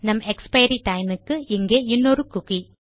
நம் expiry time க்கு இங்கே இன்னொரு குக்கி